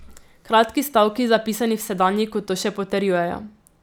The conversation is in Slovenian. Kratki stavki, zapisani v sedanjiku, to še potrjujejo.